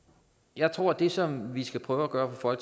jeg tror at det som vi skal prøve at gøre fra